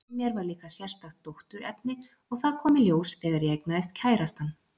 Í mér var líka sérstakt dótturefni, og það kom í ljós þegar ég eignaðist kærastann.